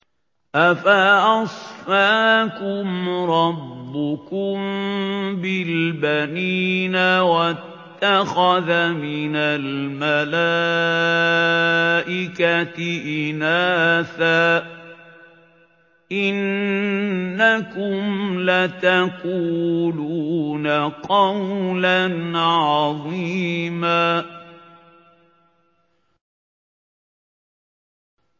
أَفَأَصْفَاكُمْ رَبُّكُم بِالْبَنِينَ وَاتَّخَذَ مِنَ الْمَلَائِكَةِ إِنَاثًا ۚ إِنَّكُمْ لَتَقُولُونَ قَوْلًا عَظِيمًا